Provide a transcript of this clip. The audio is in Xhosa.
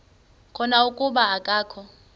khona kuba akakho